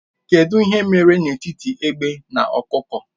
Kedụ ihe mere n'etiti egbe na ọkụkọ?